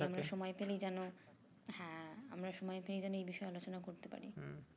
সময় পেলেই যেন হ্যাঁ, আমরা সময় পেয়ে যেন এই বিষয়ে আলোচনা করতে পারি।